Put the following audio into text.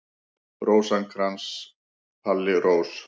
Rósinkrans, Palli Rós.